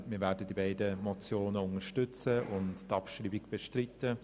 Wir werden die beiden Motionen unterstützen und die Abschreibung bestreiten.